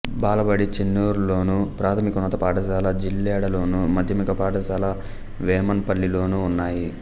బాలబడి చెన్నూర్లోను ప్రాథమికోన్నత పాఠశాల జిల్లెడలోను మాధ్యమిక పాఠశాల వేమన్ పల్లిలోనూ ఉన్నాయి